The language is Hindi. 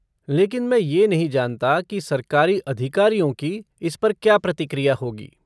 लेकिन मैं ये नहीं जानता की सरकारी अधिकारियों की इस पर क्या प्रतिक्रिया होगी।